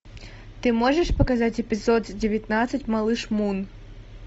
ты можешь показать эпизод девятнадцать малыш мун